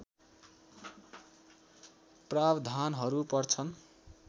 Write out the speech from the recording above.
प्रावधानहरू पर्छन्